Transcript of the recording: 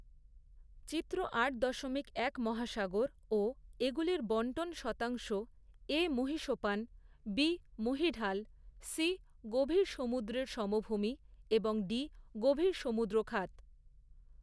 চিত্র আট দশমিক এক মহাসাগর ও এগুলির বন্টন শতাংশ এ মহীসোপান বি মহীঢাল সি গভীর সমুদ্রের সমভূমি এবং ডি গভীর সমুদ্র খাত।